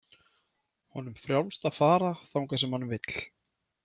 Honum frjálst að fara þangað sem hann vill.